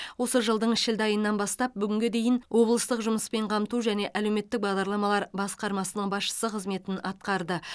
осы жылдың шілде айынан бастап бүгінге дейін облыстық жұмыспен қамту және әлеуметтік бағдарламалар басқармасының басшысы қызметін атқарды